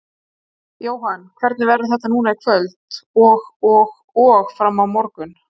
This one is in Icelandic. Jóhann: Hvernig verður þetta núna í kvöld og og og fram á morgun?